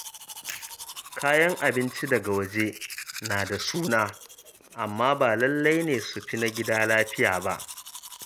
Kayan abinci daga waje na da suna, amma ba lallai ne su fi na gida lafiya ba.